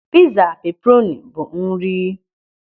Pịza peperoni bụ nri....